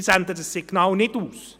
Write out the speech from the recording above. Wir senden dieses Signal nicht aus.